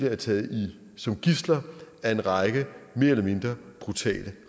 er taget som gidsler af en række mere eller mindre brutale